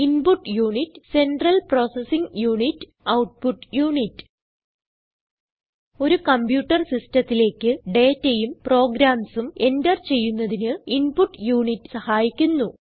input unit central processing unit output unit ഒരു computer സിസ്റ്റത്തിലേക്ക് dataയും programsഉം എന്റർ ചെയ്യുന്നതിന് ഇൻപുട്ട് യുണിറ്റ് സഹായിക്കുന്നു